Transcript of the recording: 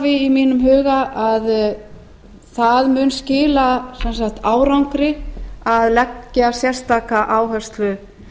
í mínum huga að það mun skila sem sagt árangri að leggja sérstaka áherslu